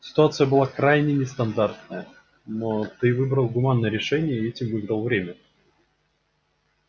ситуация была крайне нестандартная но ты выбрал гуманное решение и этим выиграл время